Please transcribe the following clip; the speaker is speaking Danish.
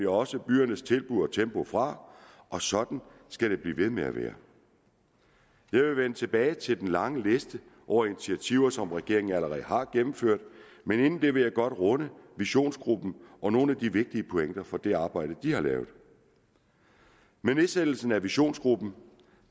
også byernes tilbud og tempo fra og sådan skal det blive ved med at være jeg vil vende tilbage til den lange liste over initiativer som regeringen allerede har gennemført men inden det vil jeg godt runde visionsgruppen og nogle af de vigtige pointer fra det arbejde de har lavet med nedsættelsen af visionsgruppen